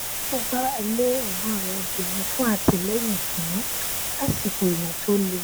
ó gbára lé ẹgbọn rẹ obìnrin fún àtìlẹyìn ìtùnú lásìkò ìyàn tó le